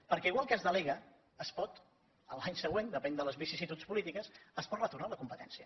perquè igual que es delega es pot l’any següent depèn de les vicissituds polítiques retornar la competència